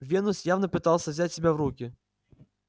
венус явно пытался взять себя в руки